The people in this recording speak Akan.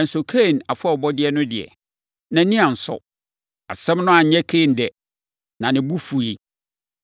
Nanso Kain afɔrebɔdeɛ no deɛ, nʼani ansɔ. Asɛm no anyɛ Kain dɛ, na ne bo fuiɛ.